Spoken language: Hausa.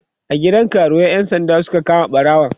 a gidan karuwai ƴan sanda Suka kama ɓarawon